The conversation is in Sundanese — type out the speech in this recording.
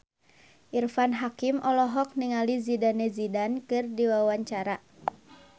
Irfan Hakim olohok ningali Zidane Zidane keur diwawancara